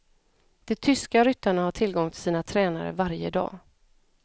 De tyska ryttarna har tillgång till sina tränare varje dag.